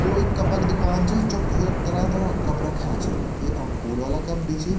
यो एक कप क दूकान च जख तरहं-तरहं क कप रख्याँ छी यखम फूल वाला कप भी छी।